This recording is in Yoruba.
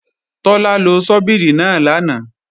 Tọ́lá lo ṣọ́bìrì náà lánàá